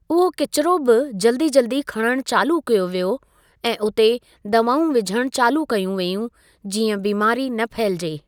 उहो किचरो बि जल्दी जल्दी खणणु चालू कयो वियो ऐं उते दवाऊं विझणु चालू कयूं वेयूं जीअं बीमारी न फहिलिजे।